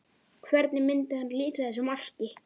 Hvernig myndi hann lýsa þessu marki?